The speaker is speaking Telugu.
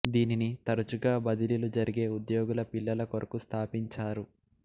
దీనిని తరచుగా బదిలీలు జరిగే ఉద్యోగుల పిల్లల కొరకు స్థాపించారు